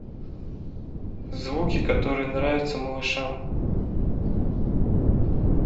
звуки которые нравятся малышам